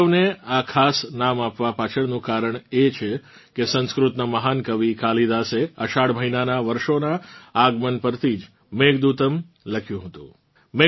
ઉત્સવને આ ખાસ નામ આપવાં પાછળનું કારણ એ છે કે સંસ્કૃતનાં મહાન કવિ કાલિદાસે અષાઢ મહિનાનાં વર્ષાનાં આગમન પરથી જ મેઘદૂતમ્ લખ્યું હતું